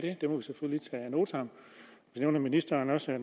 notam så nævner ministeren også at